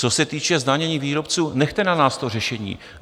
Co se týče zdanění výrobců, nechte na nás to řešení.